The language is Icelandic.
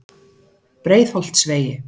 Breiðholtsvegi